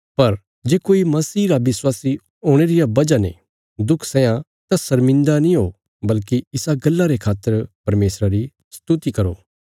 पर जे कोई मसीह रा विश्वासी हुणे रे रिया वजह ने दुख सैयां तां शर्मिन्दा नीं ओ बल्कि इसा गल्ला रे खातर परमेशरा री स्तुति करो